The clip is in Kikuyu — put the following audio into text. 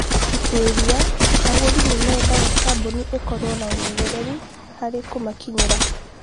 Ũtuĩria: Agũri nĩ mendaga kambuni ikorũo na ũmenyeru harĩ kũmakinyĩra.